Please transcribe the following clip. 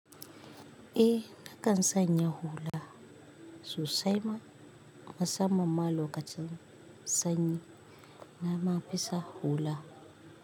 E, nakan sanya hula. Sosai ma musamman ma lokacin sanyi na ma fi sa hula.